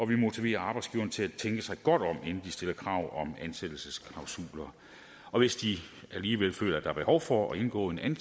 vi motiverer arbejdsgiverne til at tænke sig godt om inden de stiller krav om ansættelsesklausuler og hvis de alligevel føler der er behov for at indgå en